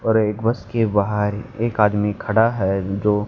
और एक बस के बाहर एक आदमी खड़ा है जो--